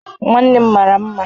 Nwannem mara mma